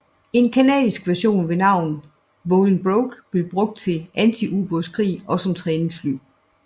En canadisk version ved navn Bolingbroke blev brugt til antiubådskrig og som træningsfly